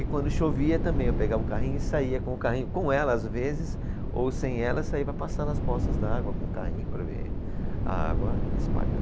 E quando chovia também, eu pegava o carrinho e saía com o carrinho, com ela às vezes, ou sem ela, saía para passar nas poças d'água com o carrinho para ver a água espalhar.